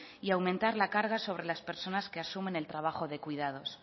y aumentar la carga sobre las personas que asumen el trabajo de cuidados